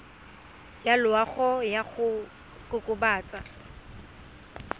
ya loago ya go kokobatsa